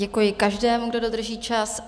Děkuji každému, kdo dodrží čas.